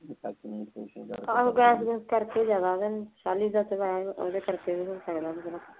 ਆਹੋ ਜਾਪੁ ਜੂਪ ਕਰਕੇ ਜਾਵਾਂਗੇ।